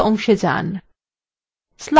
tasks অংশে pane